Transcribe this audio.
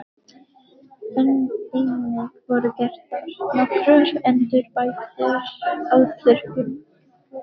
Einnig voru gerðar nokkrar endurbætur á þurrkurum.